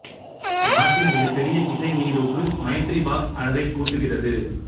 நாட்டின் மிகப் பெரிய இசை நீரூற்று மைத்ரி பாக் அழகைக் கூட்டுகிறது